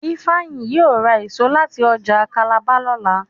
Ifeanyi yíò ra èso láti ọjà Calabar lọla